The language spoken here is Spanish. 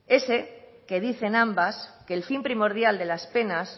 ese que dicen ambas que el fin primordial de las penas